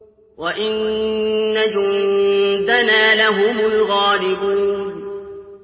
وَإِنَّ جُندَنَا لَهُمُ الْغَالِبُونَ